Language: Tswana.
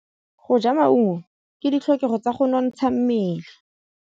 Go ja maungo ke ditlhokegô tsa go nontsha mmele.